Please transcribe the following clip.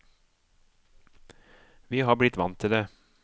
Vi har blitt vant til det.